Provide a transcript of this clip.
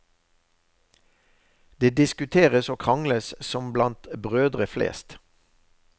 Det diskuteres og krangles som blant brødre flest.